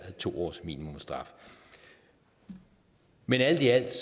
to års minimumsstraf men alt i alt